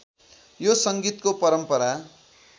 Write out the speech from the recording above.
यो संगीतको परम्परा